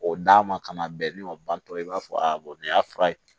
O d'a ma ka na bɛn ni o bantɔ i b'a fɔ a bɔn nin y'a fura ye